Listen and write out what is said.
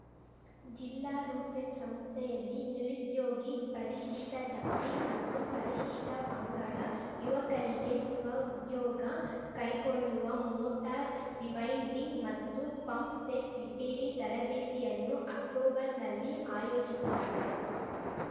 ಜಿಲ್ಲಾ ರುಡ್‌ಸೆಟ್‌ ಸಂಸ್ಥೆಯಲ್ಲಿ ನಿರುದ್ಯೋಗಿ ಪರಿಶಿಷ್ಟಜಾತಿ ಮತ್ತು ಪರಿಶಿಷ್ಟಪಂಗಡ ಯುವಕರಿಗೆ ಸ್ವ ಉದ್ಯೋಗ ಕೈಗೊಳ್ಳುವ ಮೋಟಾರ್‌ ರಿವೈಂಡಿಂಗ್‌ ಮತ್ತು ಪಂಪ್‌ಸೆಟ್‌ ರಿಪೇರಿ ತರಬೇತಿಯನ್ನು ಅಕ್ಟೋಬರ್‌ನಲ್ಲಿ ಆಯೋಜಿಸಲಾಗಿದೆ